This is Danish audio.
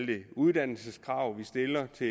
de uddannelseskrav vi stiller til